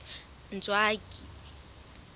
ntswaki